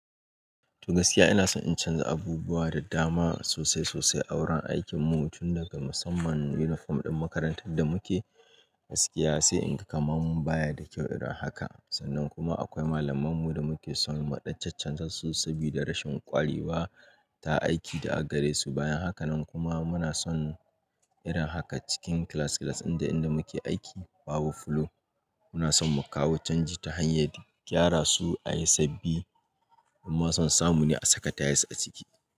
To gaskiya ina son in canza abubuwa da dama sosai sosai a wurin aikinmu, tun daga musamman uniform ɗin makarantar da muke gaskiya sai in ga kamar mun baya da kyau irin haka. Sannan kuma akwai malamanmu da muke son muɗa-chachanzasu sabida rashin ƙwarewa ta aiki da aka garesu. Bayan haka nan kuma muna son irin haka cikin class class ɗin da inda muke aiki babu flow. Muna son mu kawo canji ta hanyar gyara su a yi sabbi, amma son samu ne a saka tayas a ciki.